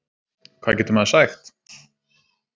Hvað getur maður sagt